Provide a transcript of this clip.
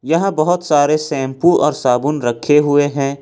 यहां बहोत सारे शैंपू और साबुन रखे हुए हैं।